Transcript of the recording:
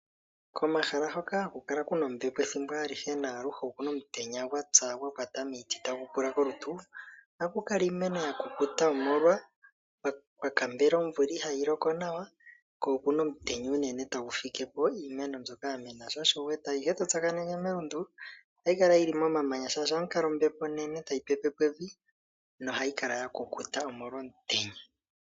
Koomahala hoka haku kala kuna ombepo ethimbo alihe naaluhe okuna omutenya gwatsa gwakwata miiti tagu pula kolutu. Oha ku kala iimeno ya kukuta omolwa kwa kambela omvula ihaa yi loko nawa. Ko okuna omutenya unene tagu fikepo iimeno mbyoka ya mena. Sho osho wu wete ayihe to tsakaneke melundu ohayi kala yili momamanya shashi ohamu kala ombepo onene tayi pepepo evi nohayi kala ya kukuta molwashoka okuna omutenya.